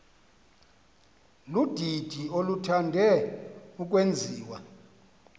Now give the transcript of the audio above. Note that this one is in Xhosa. ludidi oluthande ukwenziwa